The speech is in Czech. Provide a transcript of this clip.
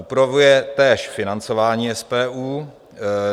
Upravuje též financování SPU.